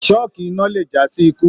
Sọ́kí iná le jasi ikú.